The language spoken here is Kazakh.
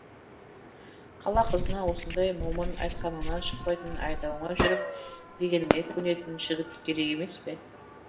қала қызына осындай момын айтқаныңнан шықпайтын айдауыңа жүріп дегеніңе көнетін жігіт керек емес пе